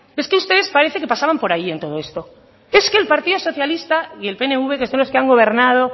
es que ustedes parece que pasaban por ahí en todo esto es que el partido socialista y el pnv que son los que han gobernado